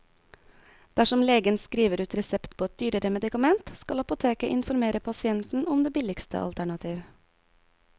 Dersom legen skriver ut resept på et dyrere medikament, skal apoteket informere pasienten om det billigste alternativ.